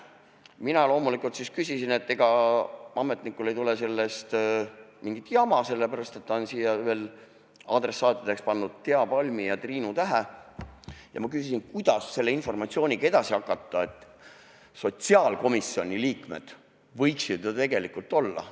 Mina loomulikult siis küsisin, et ega ametnikul ei tule sellest mingit jama, sellepärast et ta oli sinna veel adressaatideks pannud Thea Palmi ja Triinu Tähe, ja ma küsisin, kuidas selle informatsiooniga edasi peale hakata, sotsiaalkomisjoni liikmed võiksid ju tegelikult seal ka olla.